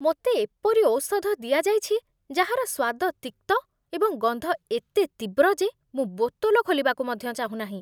ମୋତେ ଏପରି ଔଷଧ ଦିଆଯାଇଛି ଯାହାର ସ୍ୱାଦ ତିକ୍ତ ଏବଂ ଗନ୍ଧ ଏତେ ତୀବ୍ର ଯେ ମୁଁ ବୋତଲ ଖୋଲିବାକୁ ମଧ୍ୟ ଚାହୁଁନାହିଁ।